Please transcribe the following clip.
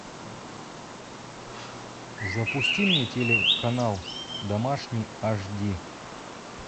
запусти мне телеканал домашний аш ди